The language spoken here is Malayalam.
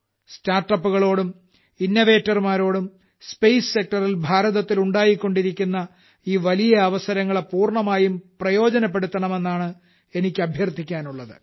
Startupകളോടും Innovaterമാരോടും സ്പേസ് Sectorൽ ഭാരതത്തിൽ ഉണ്ടായിക്കൊണ്ടിരിക്കുന്ന ഈ വലിയ അവസരങ്ങളെ പൂർണ്ണമായും പ്രയോജനപ്പെടുത്തണമെന്നാണ് എനിക്ക് അഭ്യർത്ഥിക്കുവാനുള്ളത്